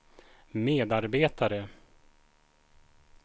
medarbetare